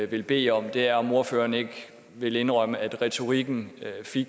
vil bede om er om ordføreren ikke vil indrømme at retorikken